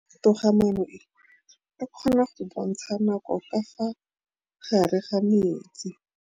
Toga-maanô e, e kgona go bontsha nakô ka fa gare ga metsi.